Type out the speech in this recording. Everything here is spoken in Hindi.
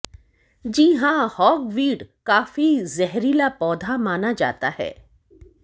जी हां होगवीड काफी जहरीला पौधा माना जाता है